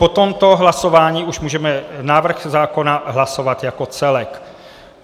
Po tomto hlasování už můžeme návrh zákona hlasovat jako celek.